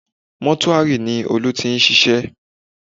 Mọ́túárì ni Olú ti ń ṣiṣẹ́